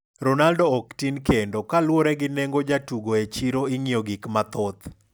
Ronaldo ok tin kendokaluore gi nengo jatugo e chiroing'iyo gik mathoth.